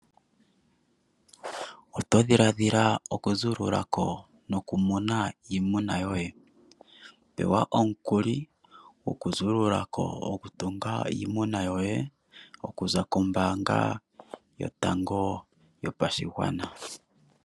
Oto dhiladhila okuzuululako nokumuna iimuna yoye ? Pewa omukuli gokuzuululako gokutunga iimuna yoye okuza kombaanga yotango yopashigwana.